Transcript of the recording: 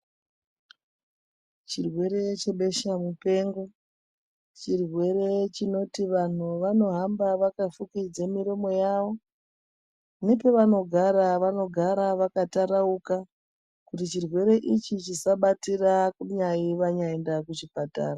Chirwere chebesha mupengo chirwere chinoti vantu vanohamba vakafukidze miromo yavo nepavanogara vanogara vakatarauka kuti chirwere ichi chisabatira kunyanyi vaenda kuchipatara.